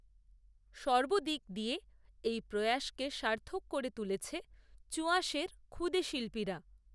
সর্বদিক দিয়ে, এই প্রয়াসকে সার্থক করে তুলেছে, চুঁআসের ক্ষুদে শিল্পীরা